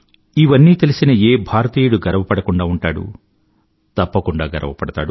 ఇవన్నీ తెలిసిన ఏ భారతీయుడు గర్వపడకుండా ఉంటాడు తప్పకుండా గర్వపడతాడు